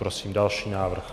Prosím další návrh.